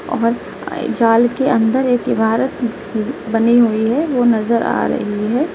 और जाल के अंदर एक इमारत बनी हुई है वो नजर आ रही है।